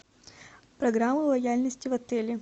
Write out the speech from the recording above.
программа лояльности в отеле